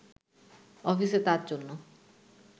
অফিসে তার জন্য